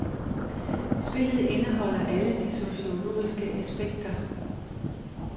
Spillet indeholder alle de sociologiske aspekter.